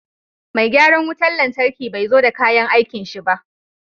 Mai gyaran wutan lantarkin bai zo da kayan aikin shi ba.